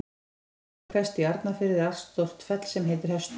Í landi Fremri-Hvestu í Arnarfirði er allstórt fell sem heitir Hestur.